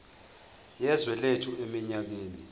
yezwe lethu eminyakeni